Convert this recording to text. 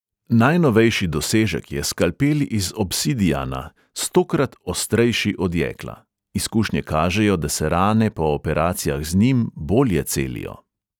Najnovejši dosežek je skalpel iz obsidiana, stokrat ostrejši od jekla; izkušnje kažejo, da se rane po operacijah z njim bolje celijo.